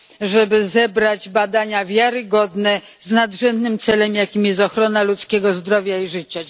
żeby zebrać badania wiarygodne z nadrzędnym celem, jakim jest ochrona ludzkiego zdrowia i życia.